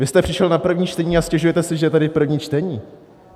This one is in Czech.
Vy jste přišel na první čtení a stěžujete si, že tady je první čtení.